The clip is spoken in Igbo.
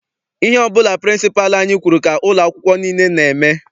Ihe ọbụla pịrịnsịpalụ anyị kwụrụ ka ụlọ akwụkwọ nile n'eme.